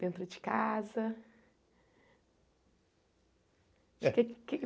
Dentro de casa?